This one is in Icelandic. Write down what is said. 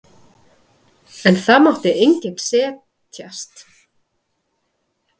En það mátti enginn setjast.